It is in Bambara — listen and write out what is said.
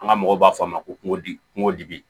An ka mɔgɔw b'a fɔ a ma ko kungodi kungo dibi